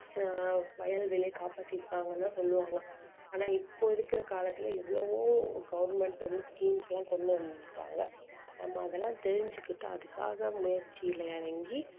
ஆஹ் வயல் வேலைய காப்பாத்திருப்பாங்கன்னு தான் சொல்லுவாங்க ஆனா இப்போ இருக்குற காலத்துல எவ்வளவோ government வந்து schemes லாம் கொண்டு வந்துட்டாங்க நம்ம அதெல்லாம் தெரிஞ்சுகிட்டு அதுக்காக முயற்சியில இறங்கி